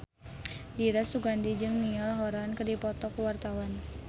Dira Sugandi jeung Niall Horran keur dipoto ku wartawan